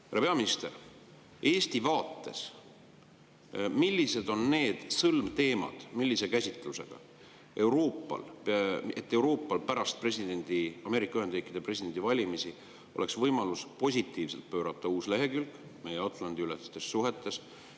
Härra peaminister, millised on Eesti vaates need sõlmteemad ja millise käsitlusega oleks Euroopal pärast Ameerika Ühendriikide presidendivalimisi võimalus pöörata positiivne uus lehekülg meie Atlandi-ülestes suhetes?